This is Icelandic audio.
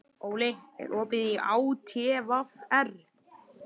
Óli, er opið í ÁTVR?